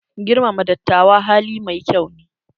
Girmama dattawa hali mai kyau ne.